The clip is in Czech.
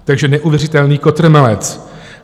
Takže neuvěřitelný kotrmelec.